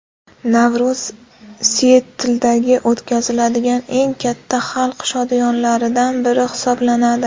Navro‘z Sietldagi o‘tkaziladigan eng katta xalq shodiyonalaridan biri hisoblanadi.